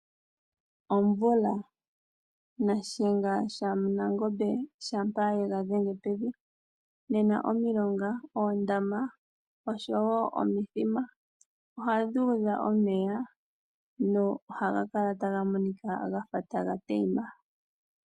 Omvula. Nashenga shanangombe shampa yega dhenge pevi, nena omilonga, oondama osho wo omithima ohadhi udha omeya nohaga kala taga monika gafa taga teima.